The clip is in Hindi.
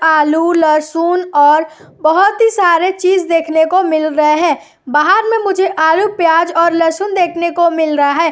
आलू लहसुन और बहुत ही सारे चीज देखने को मिल रहे हैबाहर में मुझे आलू प्याज और लहसुन देखने को मिल रहा है।